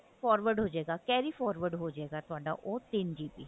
forward ਹੋਜੇਗਾ carry forward ਹੋਜੇਗਾ ਉਹ ਤਿੰਨ GB